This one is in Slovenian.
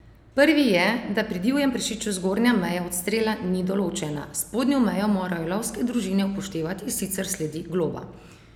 Prvi je, da pri divjem prašiču zgornja meja odstrela ni določena: "Spodnjo mejo morajo lovske družine upoštevati, sicer sledi globa.